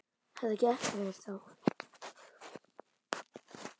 Þetta gekk ekkert þá.